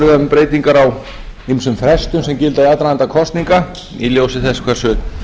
breytingar á ýmsum frestum sem gilda um aðdraganda kosninga í ljósi þessu hversu